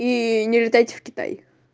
и не летайте в китай